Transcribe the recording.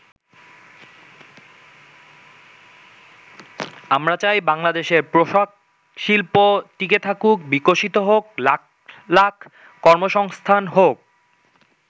আমরা চাই বাংলাদেশের পোশাক শিল্প টিকে থাকুক, বিকশিত হোক, লাখ লাখ কর্মসংস্থান হোক।